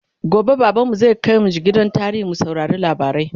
gobe baban mu zai kaimj gidan tarihi mu saurari labarai